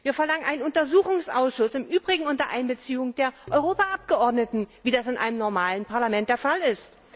Wir verlangen einen Untersuchungsausschuss, im Übrigen unter Einbeziehung der Europaabgeordneten, wie das in einem normalen Parlament der Fall ist.